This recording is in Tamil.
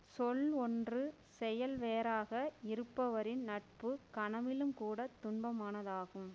சொல் ஒன்று செயல் வேறாக இருப்பவரின் நட்பு கனவிலும் கூட துன்பமானதாகும்